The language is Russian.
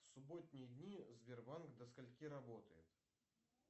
субботние дни сбербанк до скольки работает